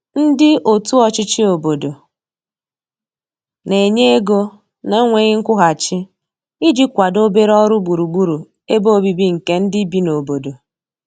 ndi otu ochichi obodo n'enye ego na nweghi nkwuhachi iji kwado obere ọrụ gburugburu ebe ọbìbi nke ndi bi n'obodo